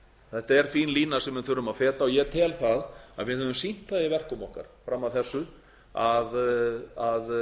þetta er bein lína sem við þurfum að feta og ég tel að við höfum sýnt það í verkum okkar fram að þessu að